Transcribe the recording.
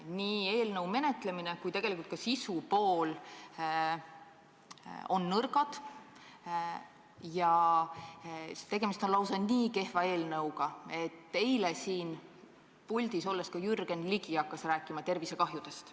Nii eelnõu menetlemine kui ka sisupool on nõrgad ja tegemist on lausa nii kehva eelnõuga, et eile siin puldis olles hakkas ka Jürgen Ligi rääkima tervisekahjudest.